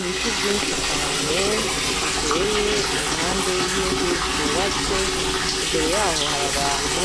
Ibiti vyinshi cane, biteye impande y'inzu zubatse, imbere y'aho hari abantu,